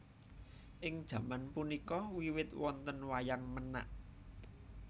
Ing jaman punika wiwit wonten Wayang Menak